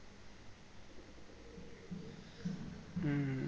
হুম